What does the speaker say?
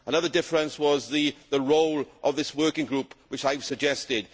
Another difference was the role of this working group that I have suggested.